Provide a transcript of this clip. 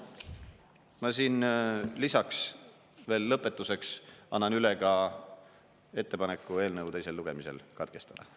Ma siin lisaks veel lõpetuseks annan üle ka ettepaneku eelnõu teisel lugemisel katkestada.